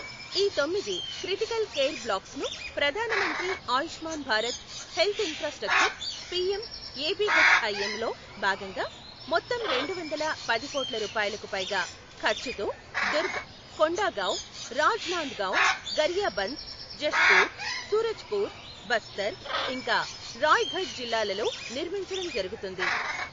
ఈ తొమ్మిది critical care blocks ను ప్రధాన మంత్రి Ayushman Bharat health infrastructure PM ABHIM లో భాగంగా మొత్తం రెండు వందల పది కోట్ల రూపాయలకు పైగా ఖర్చుతో Durg, Kondagaon, Rajnandgaon, Gariaband, Jashpur, Surajpur, Bastar, ఇంకా రాయ్ గఢ్ జిల్లాలలో నిర్మించడం జరుగుతుంది.